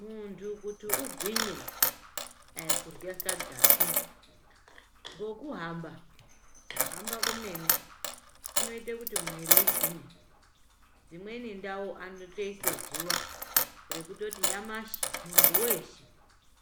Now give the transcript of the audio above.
Muntu kuti ugwinye aikurya sadzapi ngokuhamba, kuhamba komene kunoite kuti mwiiri igwinye. Dzimweni ndau anotoise zuva rekutoti nyamashi muntu weshe